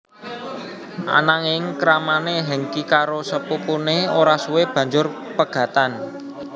Ananging kramané Hengky karo sepupuné ora suwe banjur pegatan